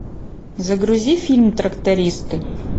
загрузи фильм трактористы